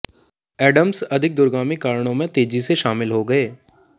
Adams अधिक दूरगामी कारणों में तेजी से शामिल हो गए